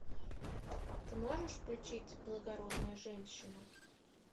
ты можешь включить благородная женщина